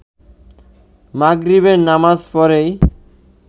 মাগরিবের নামাজ পড়েই